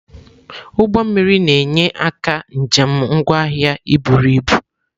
Ụgbọ mmiri na-enye aka njem ngwa ahịa iburu ibu.